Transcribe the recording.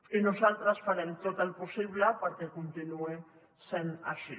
i nosaltres farem tot el possible perquè continuï sent així